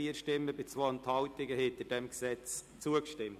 Sie haben dem Gesetz mit 132 gegen 4 Stimmen bei 2 Enthaltungen zugestimmt.